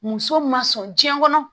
Muso ma sɔn jiɲɛ kɔnɔ